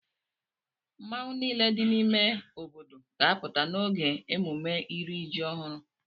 Mmọnwụ niile dị n'ime obodo ga-apụta n'oge emume iri ji ọhụrụ.